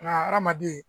Nka hadamaden